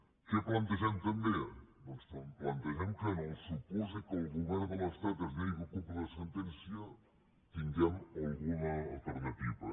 què plantegem també doncs plantegem que en el su·pòsit que el govern de l’estat es negui a complir la sen·tència tinguem alguna alternativa